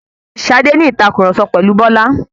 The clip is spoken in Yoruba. Ṣadé ń ní ìtàkurọ̀sọ pẹ̀lu Bọ́lá